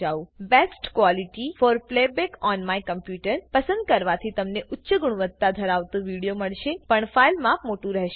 best quality for playback on my computerપસંદ કરવાથી તમને ઉચ્ચ ગુણવત્તા ધરાવતો વિડીઓ મળશે પણ ફાઈલ માપ મોટુ રહેશે